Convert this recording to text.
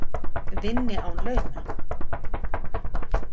Vinni án launa